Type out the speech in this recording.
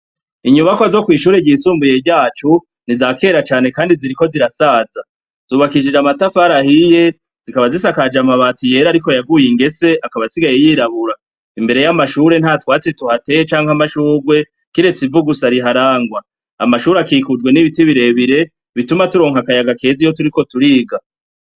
Inyubakwa zo kw’ishure ry'isumbuye ryacu ni iza kera cane kandi ziriko zirasaza, zubakishije amatafari ahiye zikaba zisakajwe amabati yera ariko yaguye ingese akaba asigaye yirabura, imbere ya mashure nta twatsi tuhateye canke amashurwe kiretse ivu gusa riharangwa, amashure akikujwe n'ibiti birebire bituma turonka akayaga keza iyo turiko turiga.